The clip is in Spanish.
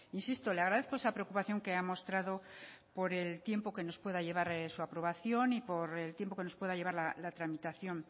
insisto le agradezco esa preocupación que ha mostrado por el tiempo que nos pueda llevar su aprobación y por el tiempo que nos pueda llevar la tramitación